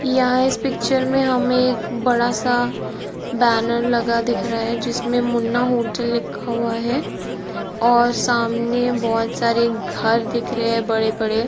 उसके बगल में एक घर बना हुआ है घर के आगे एक बहुत बड़ा हरा पेड़ है कार के लेफ्ट साइड बहुत बड़ा सा हमें खेत या मैदान दिखाई दे रहा है जो की ब्यूटीफूल लग --